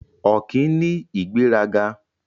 Ọ̀kín ní ìgbéraga.